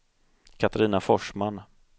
Katarina Forsman